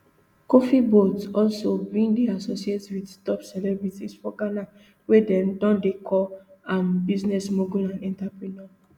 kofi boat also bin dey associated wit top celebrities for ghana wia dem don dey call am business mogul and entrepreneur